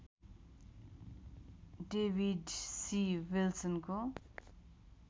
David C विल्सनको